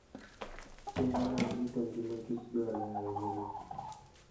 Chenro mag rito ngima kichdwarore ahinya ne kich